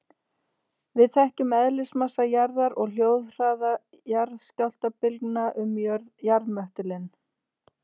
Við þekkjum eðlismassa jarðar og hljóðhraða jarðskjálftabylgna um jarðmöttulinn.